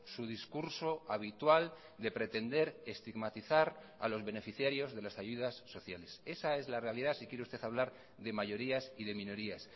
su discurso habitual de pretender estigmatizar a los beneficiarios de las ayudas sociales esa es la realidad si quiere usted hablar de mayorías y de minorías